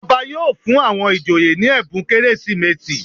Ọba yóò fún àwọn ìjòyè ní ẹ̀bùn Kérésìmesì.